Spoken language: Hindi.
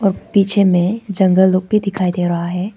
पीछे में जंगल लोग भी दिखाई दे रहा है।